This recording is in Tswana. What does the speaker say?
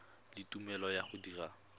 le tumelelo ya go dira